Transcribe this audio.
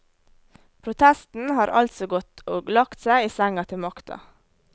Protesten har altså gått og lagt seg i senga til makta.